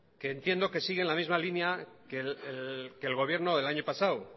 que entiendo que sigue en la misma línea que el gobierno del año pasado